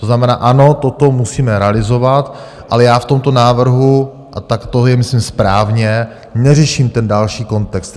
To znamená, ano, toto musíme realizovat, ale já v tomto návrhu, a tak to je myslím správně, neřeším ten další kontext.